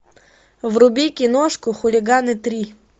вруби киношку хулиганы три